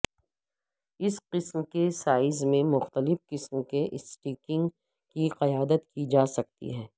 اس قسم کے سائز میں مختلف قسم کے اسٹیکنگ کی قیادت کی جا سکتی ہے